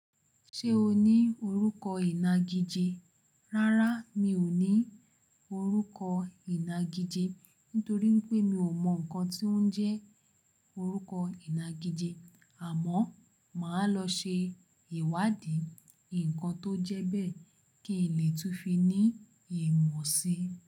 Ṣé o ní orúkọ ìnagijẹ? Rárá mi ò ní orúkọ ìnagijẹ nítorí pé mi ò mọ nǹkan tí ó ń jẹ́ orúkọ ìnagijẹ àmọ́ màá lọ ṣe ìwádìí ǹkan tó jẹ́ bẹ́ẹ̀ kí n lè tún fi ní ìmọ̀ si.